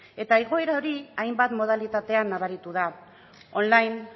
eta igoerari hori hainbat modalitatean nabaritu da online